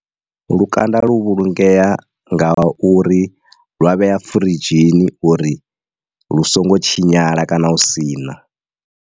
Lukanda lu vhulungea nga uri lwa vhea firidzhini uri lu songo tshinyala kana u sina.